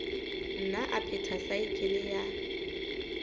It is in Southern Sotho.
nna a phetha saekele ya